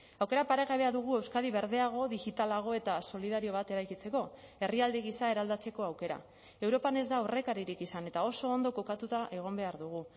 aukera paregabea dugu euskadi berdeago digitalago eta solidario bat eraikitzeko herrialde gisa eraldatzeko aukera europan ez da aurrekaririk izan eta oso ondo kokatuta egon behar dugu